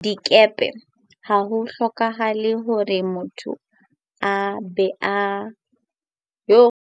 Dikepe ha ho hloke hore motho a be le kgau ya thuto, ekaba feela S1, S2 le kwetliso lewatleng.